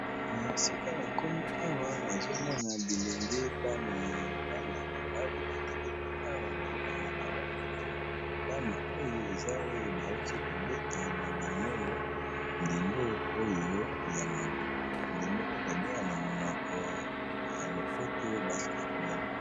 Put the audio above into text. Esika na komi awa nazomona bilenge bana bana mibali batelemi awa baokanga bango foto, bana oyo eza oyo bauti kobeta na bango ndembo oyo ya maboko ndembo oyo babengana monoko ya lopoto basketball.